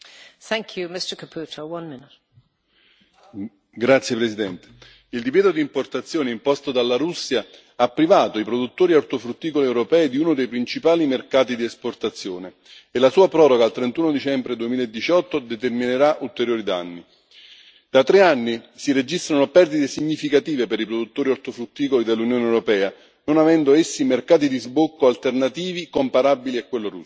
Signora Presidente, onorevoli colleghi, il divieto di importazione imposto dalla Russia ha privato i produttori ortofrutticoli europei di uno dei principali mercati di esportazione e la sua proroga al 31 dicembre 2018 determinerà ulteriori danni. Da tre anni si registrano perdite significative per i produttori ortofrutticoli dell'Unione europea, non avendo essi mercati di sbocco alternativi comparabili a quello russo.